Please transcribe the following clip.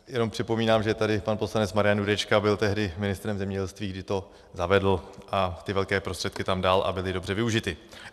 Jenom připomínám, že tady pan poslanec Marian Jurečka byl tehdy ministrem zemědělství, který to zavedl a ty velké prostředky tam dal, a byly dobře využity.